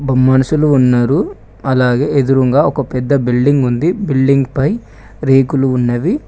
మనుషులు ఉన్నారు అలాగే ఎదురుంగా ఒక పెద్ద బిల్డింగ్ ఉంది బిల్డింగ్ పై రేకులు ఉన్నవి.